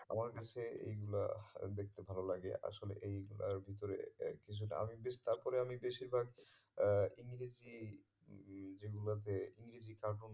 আমার কাছে এইগুলা দেখতে ভালো লাগে আসলে এইগুলার ভিতরে কিছুটা আমি বেশ তারপরে আমি বেশিরভাগ আহ ইংরেজি যেগুলোতে ইংরেজি cartoon